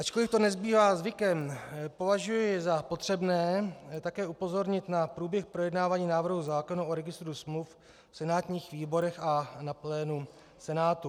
Ačkoliv to nebývá zvykem, považuji za potřebné také upozornit na průběh projednání návrhu zákona o registru smluv v senátních výborech a na plénu Senátu.